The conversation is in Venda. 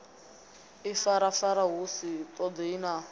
ifarafara hu sa ṱoḓei na